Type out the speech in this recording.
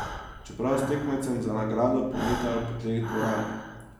Čeprav s tekmecem za nagrado pometajo po tleh dvorane.